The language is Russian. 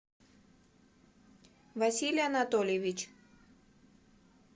василий анатольевич